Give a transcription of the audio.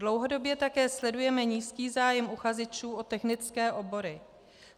Dlouhodobě také sledujeme nízký zájem uchazečů o technické obory.